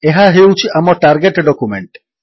ଏହା ହେଉଛି ଆମ ଟାର୍ଗେଟ୍ ଡକ୍ୟୁମେଣ୍ଟ